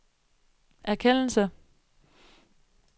erkendelse